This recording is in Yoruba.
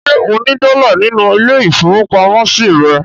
Ṣé ó ní dọ́là nínú ilé-ìfowópamọ́sí rẹ̀?